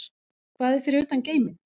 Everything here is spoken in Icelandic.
Hvað er fyrir utan geiminn?